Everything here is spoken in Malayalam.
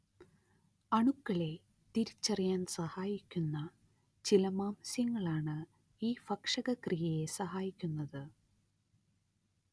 അണുക്കളെ തിരിച്ചറിയാൻ സഹായിക്കുന്ന ചില മാംസ്യങ്ങളാണ് ഈ ഭക്ഷകക്രിയയെ സഹായിക്കുന്നത്